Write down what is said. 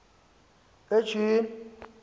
etyhini